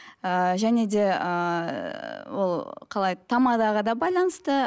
ыыы және де ыыы ол қалай тамадаға да байланысты